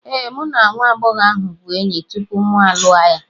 Ee, mụ na nwa agbọghọ ahụ bụ enyi tupu mụ alụọ ya.